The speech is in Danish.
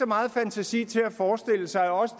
meget fantasi til at forestille sig at også